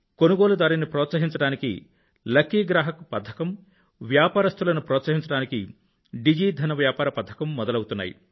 కొనుగోలుదారును ప్రోత్సహించడానికి లకీ గ్రాహక్ పథకం మరియు వ్యాపారస్తులను ప్రోత్సహించడానికి డిజి ధన్ వ్యాపార పథకం మొదలవుతున్నాయి